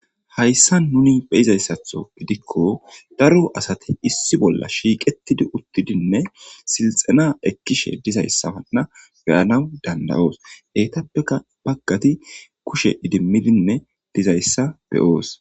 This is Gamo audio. hayssa nuni beizayssatho gidikko daro asati issi bolla shiiqetidi uttidinne silxana ekkishe dizayssawanna beyanaw danda7oos heytappeka baggati kushe idimmidinne dizayssa beyoos